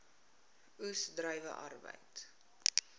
oes druiwe arbeid